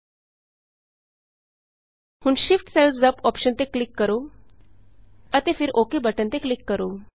ਹੁਣ shift cells up shift cells up option ਤੇ click ਕਰੋ ਅਤੇ ਫਿਰ ਓੱਕੇ ਓਕ ਬਟਨ ਤੇ ਕਲਿਕ ਕਰੋ